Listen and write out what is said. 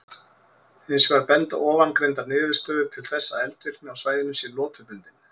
Hins vegar benda ofangreindar niðurstöður til þess að eldvirkni á svæðinu sé lotubundin.